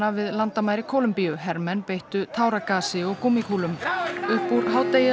við landamæri Kólumbíu hermenn beittu táragasi og gúmmíkúlum upp úr hádegi